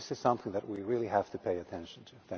This is something that we really have to pay attention to.